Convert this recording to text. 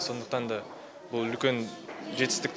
сондықтан да бұл үлкен жетістік